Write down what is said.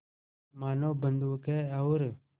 मानो बंदूक है और